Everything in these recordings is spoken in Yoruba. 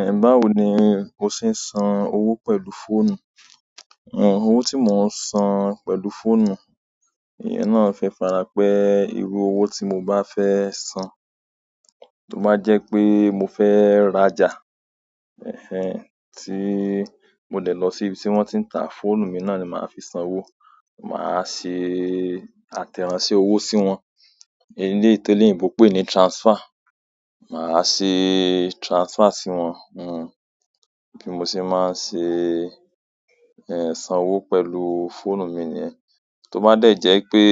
Ẹ̀, báwo ni o ṣe ń san owó pẹ̀lú fóònù? Ọ̀, owó tí mò ń san pẹ̀lú fóònù, iyẹn náà fi farapẹ́ irú owó tí mo bá fẹ́ san. Tó bá jẹ́ pé mo fẹ́ rajà, ẹ́hẹ́n, tí mo dẹ̀ lọ sí ibi tí wọ́n ti ń ta, fóònù mi náà ni màá fi san owó. Màá ṣe àtẹ̀ránsẹ́ owó sí wọn. Eleyi t'eleyinbo n pè ní transfer. Màá ṣe transfer sí wọn. Ọ̀, bí mo ṣe máa ń ṣe, ẹ̀, san owó pẹ̀lú fóònù mi niyẹ́n. Tó bá dẹ̀ jẹ́ pé,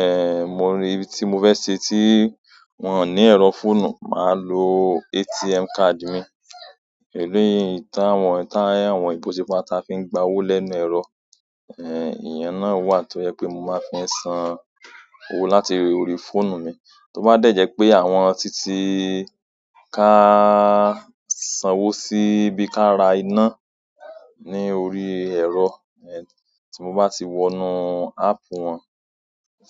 ẹ́ẹ̀, mo rí ibi tí mo fẹ́ ṣe tí wọ́n ò ní ẹ̀rọ fóònù, màá lo ATM card mi. Eléyìí táwọn, táyàwọn ìbò sípatá fi ń gba owó lẹ́nu ẹ̀rọ, ẹ́ẹ̀, ìyẹn náà wà tó jẹ́ pé mo máa fi san owó láti orí fóònù mi. Tó bá dẹ̀ jẹ́ pé àwọn títí ka san owó sí bí ká ra iná ní orí ẹ̀rọ, ẹ́ẹ̀, tí mo bá ti wọnú áápù wọn,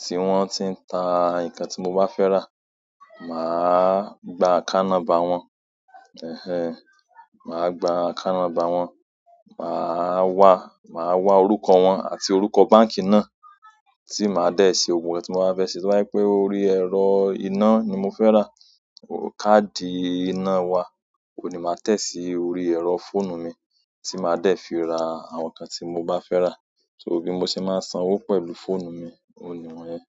tí wọ́n ti ń ta nǹkan tí mo bá fẹ́ rà, màá gba account number wọn. Ẹ̀hẹ́n, màá gba account number wọn. Màá wá, màá wá orúkọ wọn àti orúkọ báǹkì náà tí màá dẹ̀ ṣe ohun tí mo ba fẹ́ ṣe. Tó bá jẹ́ pé orí ẹ̀rọ iná ni mo fẹ́ rà, káàdì iná wa, òní màá tẹ̀ sí orí ẹ̀rọ fóònù mi tí màá dẹ̀ fi ra àwọn nǹkan tí mo bá fẹ́ rà. So bí mo ṣe máa ń san owó pẹ̀lú fóònù mi, ònun nií wọn yẹn.